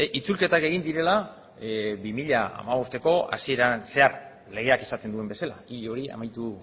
itzulketak egin direla bi mila hamabosteko hasieran zehar legeak esaten duen bezala hil hori amaitu